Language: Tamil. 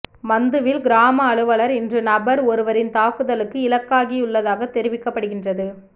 மந்துவில் கிராம அலுவலர் இன்று நபர் ஒருவரின் தாக்குதலுக்கு இலக்காகியுள்ளதாக தெரிவிக்கப்படுகின்றது